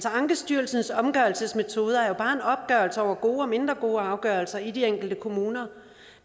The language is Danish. ankestyrelsens opgørelsesmetoder er jo bare en opgørelse over gode og mindre gode afgørelser i de enkelte kommuner